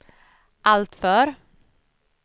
alltför